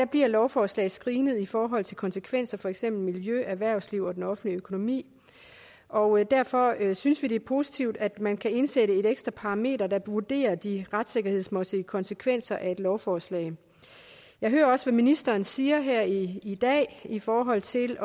bliver lovforslag screenet i forhold til konsekvenser for for eksempel miljø erhvervsliv og den offentlige økonomi og derfor synes vi det er positivt at man kan indsætte et ekstra parameter der vurderer de retssikkerhedsmæssige konsekvenser af et lovforslag jeg hører også hvad ministeren siger her i i dag i forhold til